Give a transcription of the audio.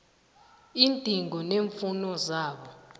iindingo neemfuno zabo